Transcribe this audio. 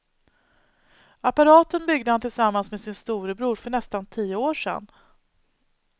Apparaten byggde han tillsammans med sin storebror för nästan tio år sedan.